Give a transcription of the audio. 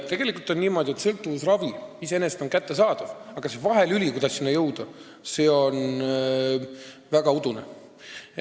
Tegelikult on niimoodi, et sõltuvusravi iseenesest on kättesaadav, aga see vahelüli, mille abil selleni jõuda, on väga udune.